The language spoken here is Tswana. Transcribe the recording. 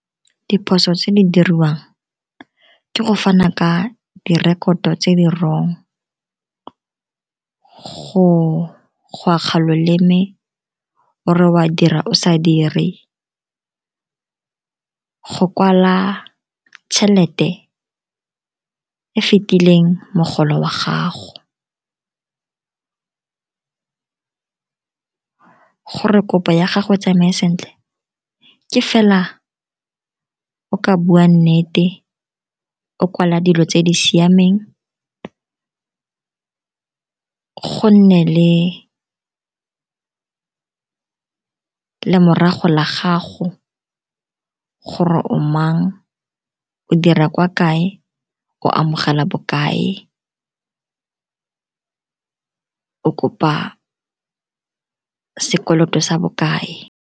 Diphoso tse di diriwang ke go fana ka direkoto tse di wrong, go akga loleme o re wa dira o sa dire, go kwala tšhelete e e fetileng mogolo wa gago. Gore kopo ya gago e tsamaye sentle, ke fela o ka bua nnete, o kwala dilo tse di siameng, go nne le lemorago la gago gore o mang, o dira kwa kae, o amogela bokae, o kopa sekoloto sa bokae.